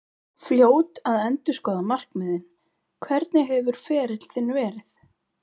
Fljót að endurskoða markmiðin Hvernig hefur ferill þinn verið?